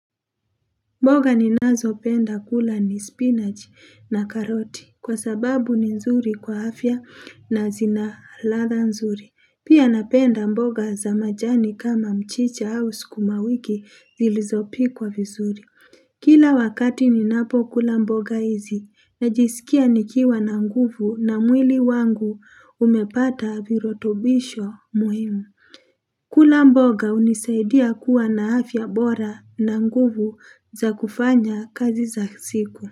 Mboga ninazopenda kula ni spinach na karoti kwa sababu ni nzuri kwa afya na zina ladha nzuri. Pia napenda mboga za majani kama mchicha au skumawiki zilizopikwa vizuri. Kila wakati ninapokula mboga hizi najiskia nikiwa na nguvu na mwili wangu umepata virotobisho muhimu. Kula mboga unisaidia kuwa na afya bora na nguvu za kufanya kazi za siku.